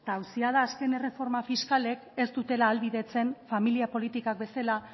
eta auzia da azken erreforma fiskalek ez dutela ahalbidetzen familia politikak bezala